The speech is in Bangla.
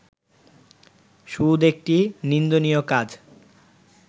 সুদ একটি নিন্দনীয় কাজ